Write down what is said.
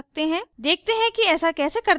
देखते हैं कि ऐसा कैसे करते हैं